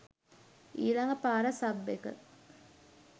ඊලග පාර සබ් එක